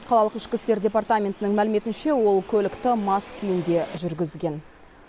қалалық ішкі істер департаментінің мәліметінше ол көлікті мас күйінде жүргізген